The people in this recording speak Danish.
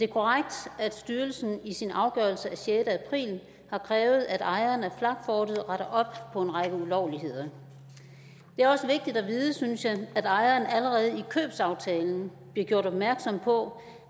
korrekt at styrelsen i sin afgørelse af sjette april har krævet at ejeren af flakfortet retter op på en række ulovligheder det er også vigtigt at vide synes jeg at ejeren allerede i købsaftalen blev gjort opmærksom på